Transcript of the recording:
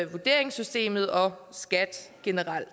vurderingssystemet og skat generelt